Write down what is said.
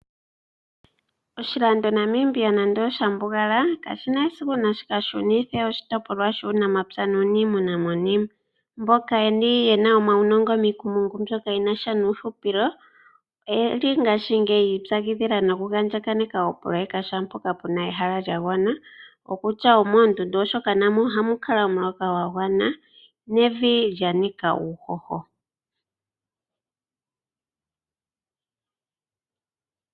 Oshilando Namibia nando osha mbugala kashi na esiku shi ka shunithe oshitopolwa shuunamapya nuuniimuna monima. Mboka ye na omaunongo miikumungu yuuhupilo oye li ngaashingeyi noku andjakaneka shaampoka pu na ehala lya gwana; kutya omoondundu, oshoka na mo ohamu kala omuloka gwa gwana nevi lya nika uuhoho.